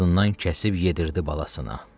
öz boğazından kəsib yedirtdi balasına.